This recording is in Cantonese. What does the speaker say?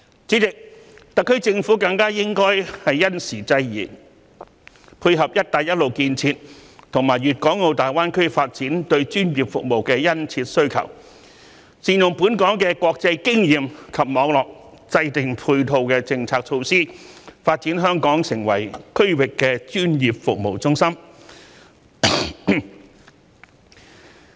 主席，特區政府更應因時制宜，配合"一帶一路"建設和粵港澳大灣區發展對專業服務的殷切需求，善用本港的國際經驗及網絡，制訂配套的政策措施，發展香港成為區域的專業服務中心。